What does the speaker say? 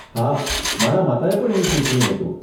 હા, મારા માતાએ પણ એવું સૂચવ્યું હતું.